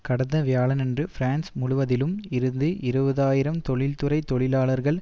கடந்த வியாழனன்று பிரான்ஸ் முழுவதிலும் இருந்து இருபது ஆயிரம் தொழில்துறை தொழிலாளர்கள்